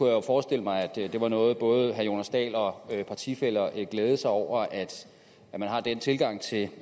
jo forestille mig at det var noget både herre jonas dahl og partifæller glædede sig over altså at man har den tilgang til